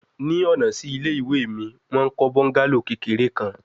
Ni ọna si ile-iwe mi, wọn n kọ bungalow kekere kan